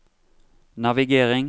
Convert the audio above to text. navigering